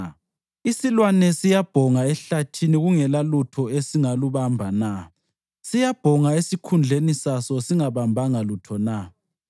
Isilwane siyabhonga ehlathini kungelalutho esingalubamba na? Siyabhonga esikhundleni saso singabambanga lutho na?